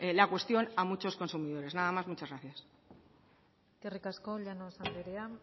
la cuestión a muchos consumidores nada más y muchas gracias eskerrik asko llanos andrea